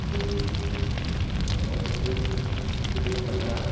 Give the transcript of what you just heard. E daí vocês, vocês começaram a namorar e depois você veio para cá?